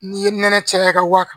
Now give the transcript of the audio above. N'i ye nɛnɛ caya i ka waa kan